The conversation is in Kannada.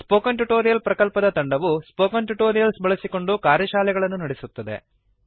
ಸ್ಪೋಕನ್ ಟ್ಯುಟೋರಿಯಲ್ ಪ್ರಕಲ್ಪದ ತಂಡವು ಸ್ಪೋಕನ್ ಟ್ಯುಟೋರಿಯಲ್ಸ್ ಬಳಸಿಕೊಂಡು ಕಾರ್ಯಶಾಲೆಗಳನ್ನು ನಡೆಸುತ್ತದೆ